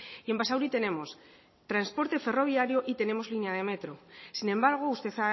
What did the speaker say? y en basauri tenemos transporte ferroviario y tenemos línea de metro sin embargo usted